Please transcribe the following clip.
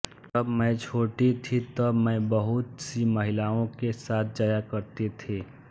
जब मैं छोटी थी तब मैं बहुतसी महिलाओं के साथ जाया करती थी